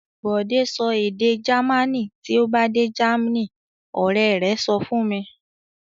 "Bọ́lá sọ èdè Jamaní tí ó bá dé Germany!" Ọ̀rẹ́ rẹ̀ sọ fún un.